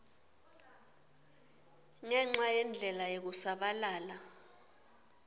ngenca yendlela yekusabalala